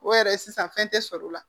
O yɛrɛ sisan fɛn tɛ sɔrɔ o la